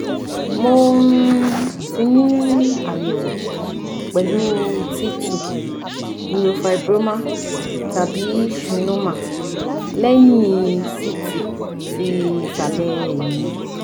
mo um ti ni ayẹwo pẹlu t two neurofibroma tabi schwannoma lẹhin ct ti isale eyin mi